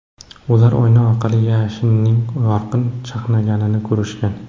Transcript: Ular oyna orqali yashinning yorqin chaqnaganini ko‘rishgan.